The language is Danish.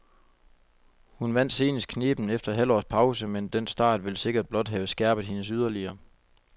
Hun vandt senest knebent efter et halvt års pause, men den start vil sikkert blot have skærpet hende yderligere.